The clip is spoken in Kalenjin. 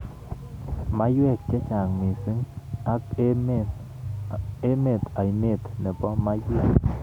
Maiwek chechang mising ik emet ainet nenbo maiwek.